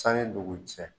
Sanni dugu cɛ